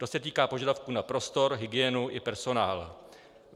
To se týká požadavků na prostor, hygienu i personál.